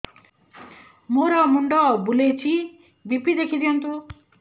ମୋର ମୁଣ୍ଡ ବୁଲେଛି ବି.ପି ଦେଖି ଦିଅନ୍ତୁ